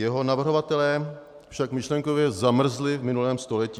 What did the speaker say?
Jeho navrhovatelé však myšlenkově zamrzli v minulém století.